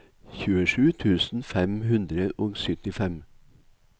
tjuesju tusen fem hundre og syttifem